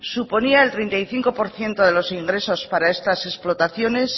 suponía el treinta y cinco por ciento de los ingresos para estas explotaciones